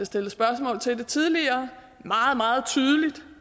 stillet spørgsmål til det tidligere meget meget tydeligt